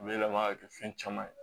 Yɛlɛma ka kɛ fɛn caman ye